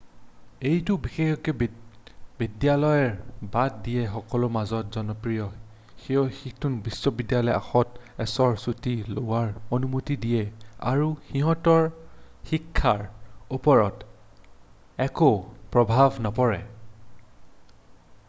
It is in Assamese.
এইটো বিশেষকৈ বিদ্যালয় বাদ দিয়া সকলৰ মাজত জনপ্ৰিয় যিয়ে সিহঁতক বিশ্ববিদ্যালয়ৰ আগত এবছৰ চুটি লোৱাৰ অনুমতি দিয়ে আৰু সিহঁতৰ শিক্ষাৰ ওপৰত একো প্ৰভাৱ নপৰে